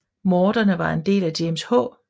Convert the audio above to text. Morderne var en del af James H